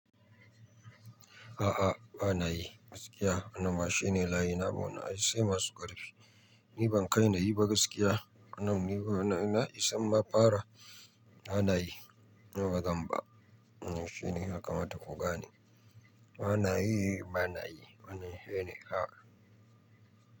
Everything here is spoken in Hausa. A'a, ba na yi gaskiya. Wannan ma shi ne layi na buɗe. Ai sai masu ƙarfi. Ni ban kai na yi ba gaskiya. Wannan ni na isa in mafara. Bana yi. Nawa zan ba? Shi ne ya kamata ku gane. Bana yi, bana yi. Wannan shi ne. A'a.